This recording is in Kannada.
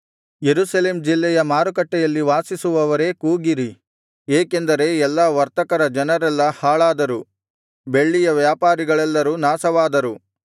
ಯೆರುಸಲೇಮ್ ಜಿಲ್ಲೆಯ ಮಾರುಕಟ್ಟೆಯಲ್ಲಿ ವಾಸಿಸುವವರೇ ಕೂಗಿರಿ ಏಕೆಂದರೆ ಎಲ್ಲಾ ವರ್ತಕರ ಜನರೆಲ್ಲಾ ಹಾಳಾದರು ಬೆಳ್ಳಿಯ ವ್ಯಾಪಾರಿಗಳೆಲ್ಲರೂ ನಾಶವಾದರು